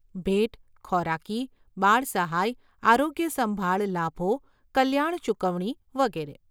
ભેટ, ખોરાકી, બાળ સહાય, આરોગ્યસંભાળ લાભો, કલ્યાણ ચૂકવણી વગેરે.